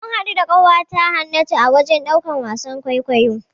Mun haɗu da ƙawata Hannatu a wajen ɗaukan wasan kwaikwayo.